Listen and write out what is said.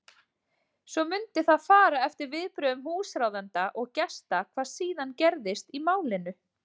Svo mundi það fara eftir viðbrögðum húsráðenda og gesta hvað síðan gerist í málinu.